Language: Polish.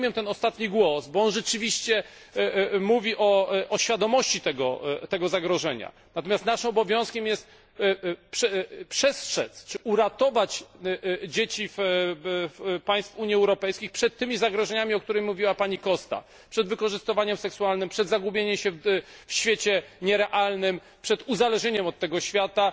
Ja rozumiem ten ostatni głos, bo on rzeczywiście mówi o świadomości tego zagrożenia, natomiast naszym obowiązkiem jest przestrzec czy uratować dzieci państw Unii Europejskiej przed tymi zagrożeniami, o których mówiła pani Costa przed wykorzystywaniem seksualnym, przed zagubieniem się w świecie nierealnym, przed uzależnieniem od tego świata.